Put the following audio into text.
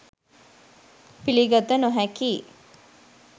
පිළිගත නොහැකියි